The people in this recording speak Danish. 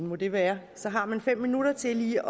må det være så har man fem minutter til lige